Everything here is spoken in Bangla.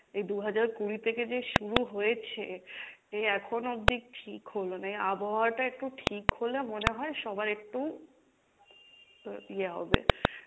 এই দু'হাজার কুড়ি থেকে যে শুরু হয়েছে এই এখনো অব্দি ঠিক হলো না, এই আবহাওয়াটা একটু ঠিক হলে মনে হয় সবাই একটু তো ইয়ে হবে,